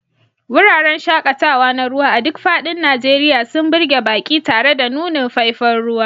Wuraren shaƙatawa na ruwa a duk faɗin Najeriya sun burge baƙi tare da nunin faifan ruwa.